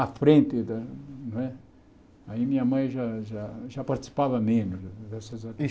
À frente da não é aí minha mãe já já já participava menos dessas.